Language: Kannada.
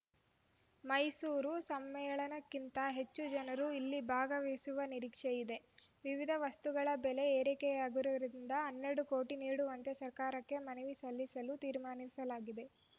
ಮೈಸೂರು ಸಮ್ಮೇಳನಕ್ಕಿಂತ ಹೆಚ್ಚು ಜನರು ಇಲ್ಲಿ ಭಾಗವಹಿಸುವ ನಿರೀಕ್ಷೆ ಇದೆ ವಿವಿಧ ವಸ್ತುಗಳ ಬೆಲೆ ಏರಿಕೆಯಾಗಿರುವುದರಿಂದ ಹನ್ನೆರಡು ಕೋಟಿ ನೀಡುವಂತೆ ಸರ್ಕಾರಕ್ಕೆ ಮನವಿ ಸಲ್ಲಿಸಲು ತೀರ್ಮಾನಿಸಲಾಗಿದೆ